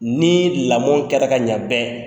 Ni lamɔ kɛra ka ɲɛ bɛɛ